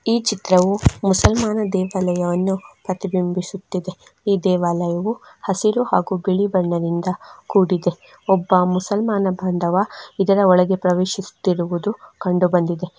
ಈ ಚಿತ್ರವು ಮುಸಲ್ಮಾನ ದೇವಾಲಯವನ್ನು ಪ್ರತಿಬಿಂಬಿಸುತ್ತದೆ ಈ ದೇವಾಲಯವು ಹಸಿರು ಹಾಗೂ ಬಿಳಿ ಬಣ್ಣದಿಂದ ಕೂಡಿದ್ದು. ಒಬ್ಬ ಮುಸಲ್ಮಾನ ಬಾಂಧವ ಇದರ ಒಳಗೆ ಪ್ರವೇಶಿಸುತ್ತಿರುವುದು ಕಂಡು ಬಂದಿದೆ.